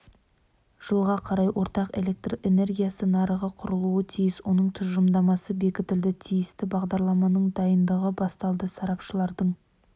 жылға қарай ортақ электр энергиясы нарығы құрылуы тиіс оның тұжырымдамасы бекітілді тиісті бағдарламаның дайындығы басталды сарапшылардың